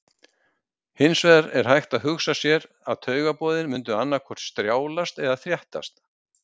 Hins vegar er hægt að hugsa sér að taugaboðin mundu annaðhvort strjálast eða þéttast.